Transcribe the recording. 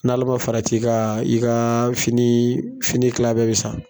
N'Ala ma fara i ka , i ka fini kilan bɛɛ bɛ sa.